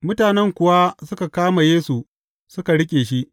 Mutanen kuwa suka kama Yesu, suka riƙe shi.